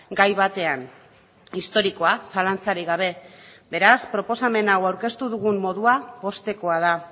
gai batean historikoa zalantzarik gabe beraz proposamen hau aurkeztu dugun modua poztekoa da